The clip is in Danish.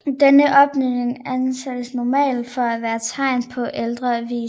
Denne opbygning anses normalt for at være tegn på en ældre vise